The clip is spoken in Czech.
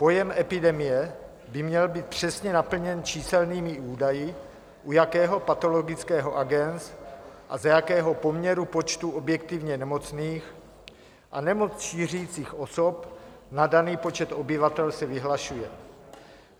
Pojem epidemie by měl být přesně naplněn číselnými údaji, u jakého patologického agens a za jakého poměru počtu objektivně nemocných a nemoc šířících osob na daný počet obyvatel se vyhlašuje.